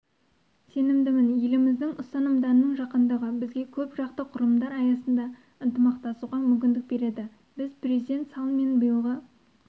сенімдімін елдеріміздің ұстанымдарының жақындығы бізге көпжақты құрылымдар аясында ынтымақтасуға мүмкіндік береді біз президент саллмен биылғы